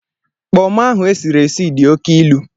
Kpọmọ ahụ esiri esi di oke ilu.